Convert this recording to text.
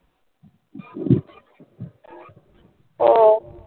ও